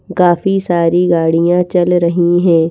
काफी सारी गाड़ियां चल रही हैं।